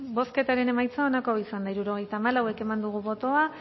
bozketaren emaitza onako izan da hirurogeita hamalau eman dugu bozka